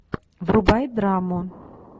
врубай драму